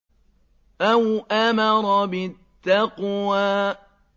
أَوْ أَمَرَ بِالتَّقْوَىٰ